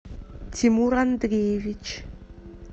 тимур андреевич